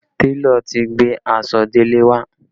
Télọ̀ ti gbé aṣọ Dele wá